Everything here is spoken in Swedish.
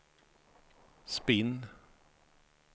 spinn